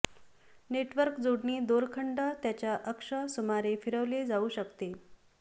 network जोडणी दोरखंड त्याच्या अक्ष सुमारे फिरवले जाऊ शकते